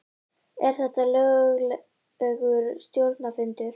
Er þetta löglegur stjórnarfundur?